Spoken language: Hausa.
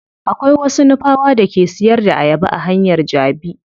Akwai wasu nupawa da ke siyar da ayaba a hanyar jabi.